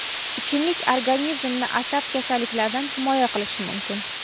ichimlik organizmni asab kasalliklaridan himoya qilishi mumkin.